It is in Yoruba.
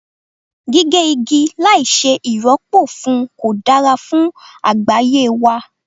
Gígé igi láì ṣe ì rọ́pò fún kò dára fún àgbáyé wa.